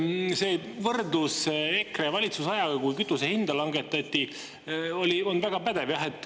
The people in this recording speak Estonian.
See võrdlus EKRE valitsusajaga, kui kütuse hinda langetati, oli väga pädev.